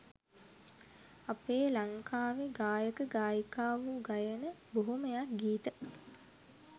අපේ ලංකාවෙ ගායක ගායිකාවො ගයන බොහොමයක් ගීත